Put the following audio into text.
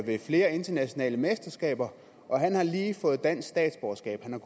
ved flere internationale mesterskaber og han har lige fået dansk statsborgerskab han